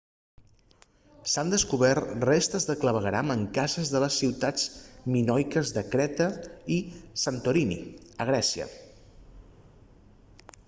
s'han descobert restes de clavegueram en cases de les ciutats minoiques de creta i santorini a grècia